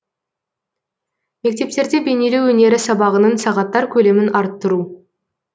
мектептерде бейнелеу өнері сабағының сағаттар көлемін арттыру